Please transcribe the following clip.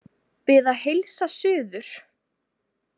Bið að heilsa suður.